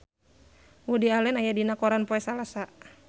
Woody Allen aya dina koran poe Salasa